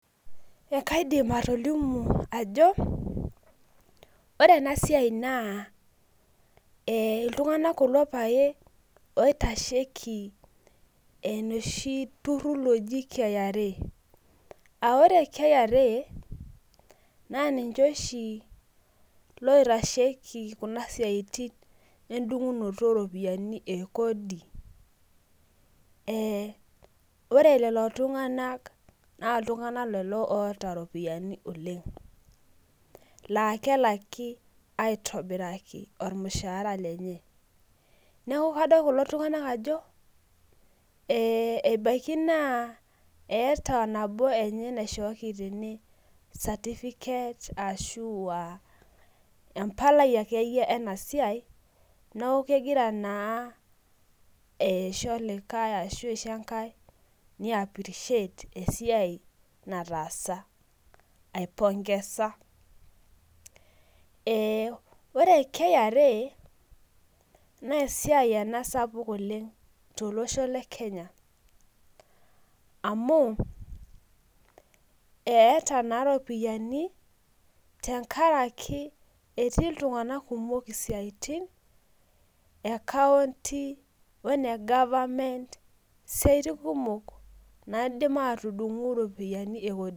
Ekaidim atolimu ajo, ore enasiai naa iltung'anak kulo pae oitasheki enoshi turrurr loji KRA. Ah ore KRA, na ninche oshi loitasheki kuna siaitin edung'unoto oropiyiani e kodi. Ore lelo tung'anak na iltung'anak lelo oota ropiyiani oleng. La kelaki aitobiraki ormushaara lenye. Neeku kadol kulo tung'anak ajo, ebaiki naa eeta nabo enye naishooki tene certificate ashua empalai akeyie enasiai, noku kegira naa aisho olikae ashu aisho enkae ni appreciate esiai nataasa. Aipongesa. Ore KRA, nesiai ena sapuk oleng tolosho le Kenya. Amu, eeta naa ropiyiani tenkaraki etii iltung'anak kumok isiaitin, ekaunti one government isiaitin kumok naidim atudung'u iropiyiani ekodi.